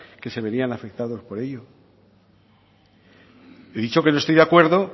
que se verían afectados por ello he dicho que no estoy de acuerdo